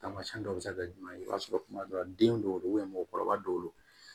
Tamasiyɛn dɔw bɛ se ka kɛ jumɛn ye i b'a sɔrɔ kuma dɔ la den dɔw